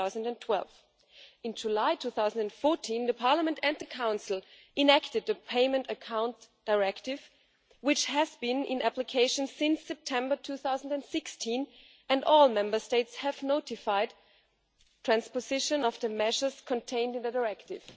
2012. In July 2014, Parliament and the Council enacted a Payment Accounts Directive, which has been in application since September 2016 and all Member States have notified transposition of the measures contained in the Directive.